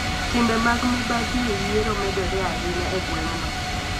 Timbe mag mibadhi e yiero medore ahinya e gweng'no.